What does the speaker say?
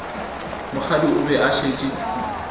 mokgadi o be a šetše